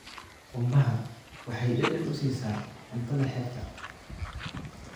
Qumbaha waxay dhadhan u siisaa cuntada xeebta.